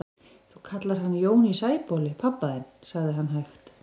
Þú kallar hann Jón í Sæbóli pabba þinn, sagði hann hægt.